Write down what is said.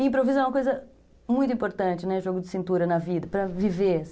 E improviso é uma coisa muito importante, jogo de cintura na vida, para viver.